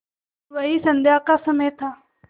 वही संध्या का समय था